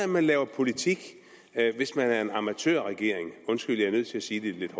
man laver politik hvis man er en amatørregering undskyld jeg er nødt til at sige det lidt